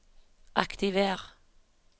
aktiver